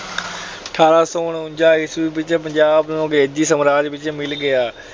ਅਠਾਰਾਂ ਸੌ ਉਨੰਜਾ ਈਸਵੀ ਵਿੱਚ ਪੰਜਾਬ ਅੰਗਰੇਜੀ ਸਾਮਰਾਜ ਵਿੱਚ ਮਿਲ ਗਿਆ।